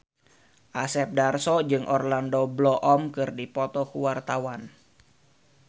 Asep Darso jeung Orlando Bloom keur dipoto ku wartawan